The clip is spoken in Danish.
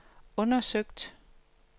undersøgt